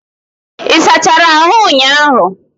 Ị sachara ahụ ụnyahụ?